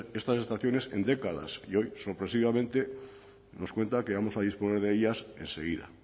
estas estaciones en décadas y hoy sorpresivamente nos cuenta que vamos a disponer de ellas enseguida